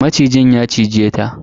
Macijin ya cize ta.